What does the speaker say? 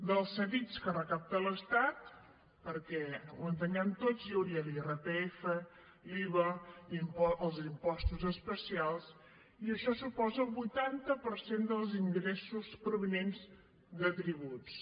dels cedits que recapta l’estat perquè ho entenguem tots hi hauria l’irpf l’iva els impostos especials i això suposa el vuitanta per cent dels ingressos provinents de tributs